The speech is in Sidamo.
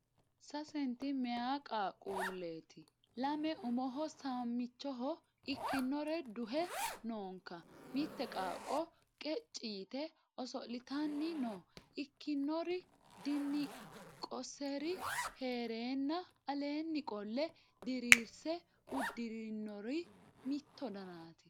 Sasenti meeya qaaqquleti lame umoho samichoho ikkinore duhe noonka mite qaaqqo qecci yte oso'littanni no ikkinori diniqoseri heerenna aleeni qolle dirirse udirinori mitto danati.